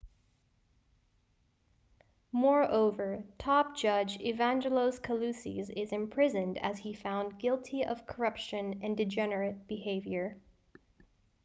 moreover top judge evangelos kalousis is imprisoned as he found guilty of corruption and degenerate behaviour